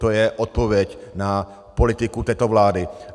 To je odpověď na politiku této vlády.